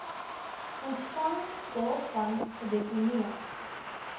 ontvangs daarvan gedeponeer